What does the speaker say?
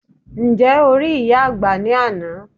Ǹjẹ́ o rí ìyá àgbà ní àná?